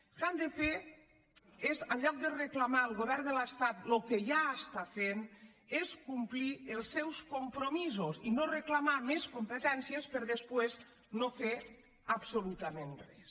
el que han de fer en lloc de reclamar al govern de l’estat el que ja fa és complir els seus compromisos i no reclamar més competències per a després no fer absolutament res